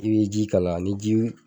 I bɛ ji kalaya ni ji wu